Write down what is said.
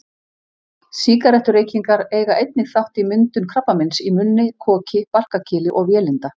Sígarettureykingar eiga einnig þátt í myndun krabbameins í munni, koki, barkakýli og vélinda.